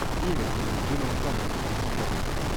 девять с джимом каммингсом искать